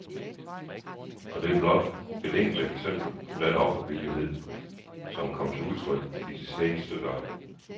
Og det er blot et enkelt eksempel på den offervillighed, som er kommet til udtryk i de seneste døgn.